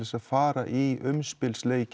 að fara í